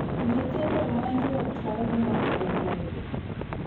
Nyithindo manyo tong’ ma opondo,